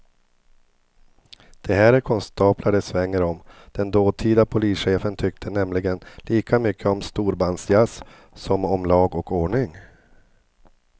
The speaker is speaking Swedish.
Det här är konstaplar det svänger om, den dåtida polischefen tyckte nämligen lika mycket om storbandsjazz som om lag och ordning.